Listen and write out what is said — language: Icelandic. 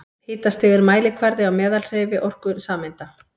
Hitastig er mælikvarði á meðalhreyfiorku sameinda.